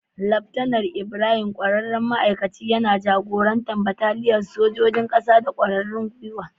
Laftanar Ibrahim, ƙwararren ma'aikacin, yana jagorantar bataliyar sa ta sojojin kasa da ƙwarin gwiwa.